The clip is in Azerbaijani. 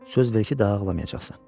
Söz ver ki, daha ağlamayacaqsan.